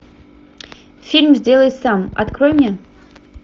фильм сделай сам открой мне